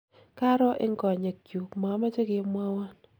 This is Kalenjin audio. karo eng konyek chu mamache kemwowon